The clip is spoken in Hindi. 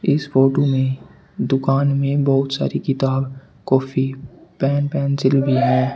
इस फोटो में दुकान में बहुत सारी किताब कॉपी पेन पेंसिल भी है।